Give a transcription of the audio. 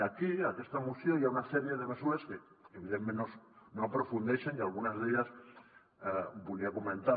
i aquí en aquesta moció hi ha una sèrie de mesures en què evidentment no aprofundeixen i algunes d’elles les volia comentar